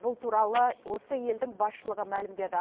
бұл туралы осы елдің басшылығы мәлімдеді